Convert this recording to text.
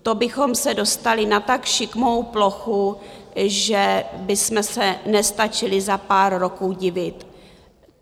To bychom se dostali na tak šikmou plochu, že bychom se nestačili za pár roků divit.